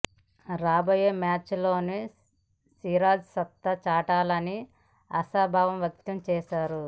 రాబోయే మ్యాచ్ ల్లోనూ సిరాజ్ సత్తా చాటాలని ఆశాభావం వ్యక్తం చేశాడు